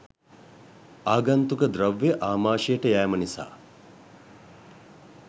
ආගන්තුක ද්‍රව්‍ය ආමාෂයට යෑම නිසා